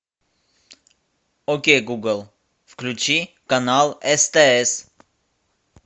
окей гугл включи канал стс